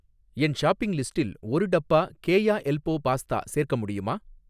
என் shopping லிஸ்டில் ஒரு டப்பா கேயா எல்போ பாஸ்தா சேர்க்க முடியுமா?